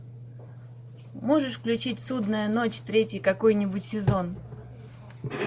можешь включить судная ночь третий какой нибудь сезон